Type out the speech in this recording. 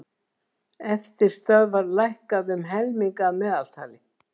Eftirstöðvar lækkað um helming að meðaltali